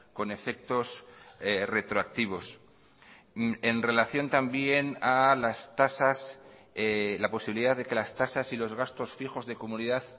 con efectos retroactivos en relación también a las tasas la posibilidad de que las tasas y los gastos fijos de comunidad